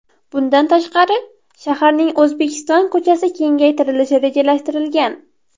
Bundan tashqari, shaharning O‘zbekiston ko‘chasi kengaytirilishi rejalashtirilgan.